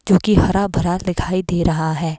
जो कि हरा भरा दिखाई दे रहा है।